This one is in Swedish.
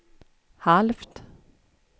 halvt